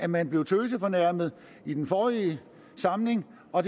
man blev tøsefornærmet i den forrige samling og